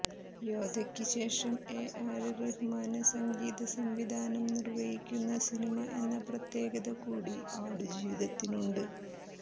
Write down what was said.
യോദ്ധക്ക് ശേഷം A R Rahman സംഗീത സംവിധാനം നിര്വഹിക്കുന്ന സിനിമ എന്ന പ്രത്യേകത കൂടി ആടു ജീവിതത്തിനുണ്ട്